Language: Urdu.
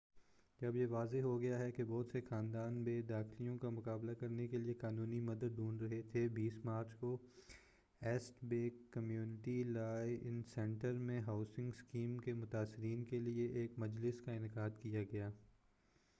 جب یہ واضح ہوگیا کہ بہت سے خاندان بے دخلیوں کا مُقابلہ کرنے کے لیے قانونی مدد ڈھونڈ رہے تھے 20 مارچ کو East Bay community law centre میں ہاوسنگ اسکیم کے متاثرین کے لیے ایک مجلس کا انعقاد کیا گیا